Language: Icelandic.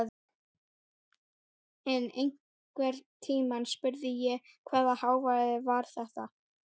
Ég hélt að við ætluðum í sólbað!